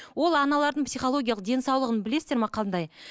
ол аналардың психологиялық денсаулығын білесіздер ме қандай